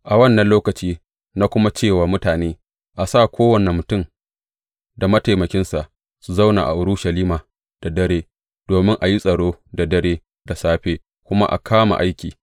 A wannan lokaci na kuma ce wa mutane, A sa kowane mutum da mataimakinsa su zauna a Urushalima da dare, domin a yi tsaro da dare, da safe kuma a kama aiki.